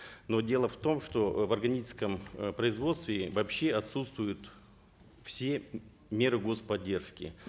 но дело в том что э в органическом э производстве вообще отсутствуют все меры господдержки